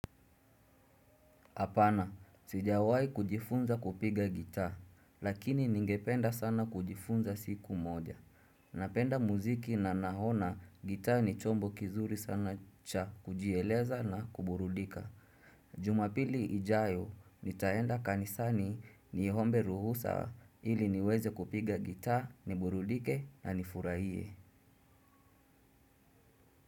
Hapana, sijawahi kujifunza kupiga gitaa, lakini ningependa sana kujifunza siku moja. Napenda muziki na naona gitaa ni chombo kizuri sana cha kujieleza na kuburudika. Jumapili ijayo, nitaenda kanisani niombe ruhusa ili niweze kupiga gitaa, niburudike na nifurahie.